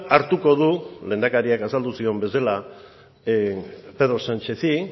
hartuko du lehendakariak azaldu zion bezala pedro sánchezi